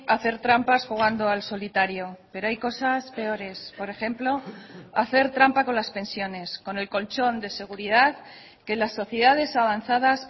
hacer trampas jugando al solitario pero hay cosas peores por ejemplo hacer trampa con las pensiones con el colchón de seguridad que las sociedades avanzadas